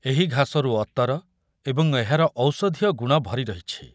ଏହି ଘାସରୁ ଅତର ଏବଂ ଏହାର ଔଷଧୀୟ ଗୁଣ ଭରି ରହିଛି ।